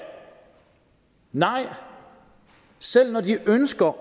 nej selv når de ønsker